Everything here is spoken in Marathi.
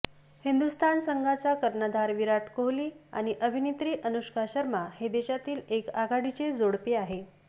हिंदुस्थान संघाचा कर्णधार विराट कोहली आणि अभिनेत्री अनुष्का शर्मा हे देशातील एक आघाडीचे जोडपे आहे